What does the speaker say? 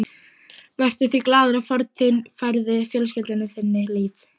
Vertu því glaður að fórn þín færði fjölskyldu þinni líf.